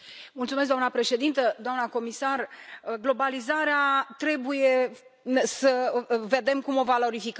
Doamna președintă, doamna comisar, globalizarea trebuie să vedem cum o valorificăm.